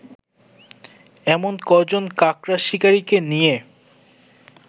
এমন কজন কাকড়া শিকারিকে নিয়ে